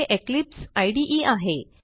हे इक्लिप्स इदे आहे